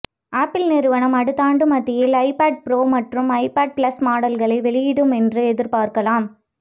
apple நிறுவனம் அடுத்தாண்டு மத்தியில் ஐபேட் ப்ரோ மற்றும் ஐபேட் ப்ளஸ் மாடல்களை வெளியிடும் என்று எதிர்பார்க்கலாம்